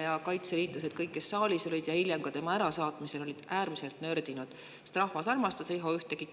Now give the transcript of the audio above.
ja kõik kaitseliitlased, kes olid saalis ja hiljem ka tema ärasaatmisel, olid äärmiselt nördinud, sest rahvas armastas Riho Ühtegit.